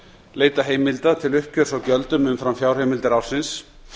leita heimilda til uppgjörs á gjöldum umfram fjárheimildir ársins